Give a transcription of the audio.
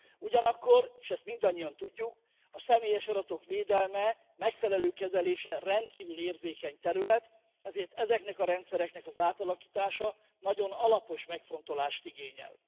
Ugyanakkor és ezt mindannyian tudjuk a személyes adatok védelme, megfelelő kezelése rendkívül érzékeny terület, ezért ezeknek a rendszereknek az átalakítása nagyon alapos megfontolást igényel.